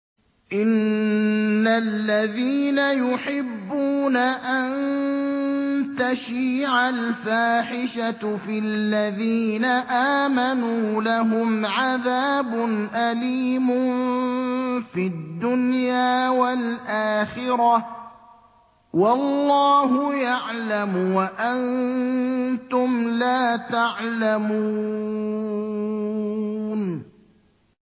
إِنَّ الَّذِينَ يُحِبُّونَ أَن تَشِيعَ الْفَاحِشَةُ فِي الَّذِينَ آمَنُوا لَهُمْ عَذَابٌ أَلِيمٌ فِي الدُّنْيَا وَالْآخِرَةِ ۚ وَاللَّهُ يَعْلَمُ وَأَنتُمْ لَا تَعْلَمُونَ